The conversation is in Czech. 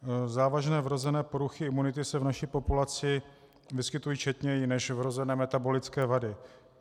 Závažné vrozené poruchy imunity se v naší populaci vyskytují četněji než vrozené metabolické vady.